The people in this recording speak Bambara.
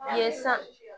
Ye san